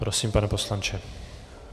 Prosím, pane poslanče.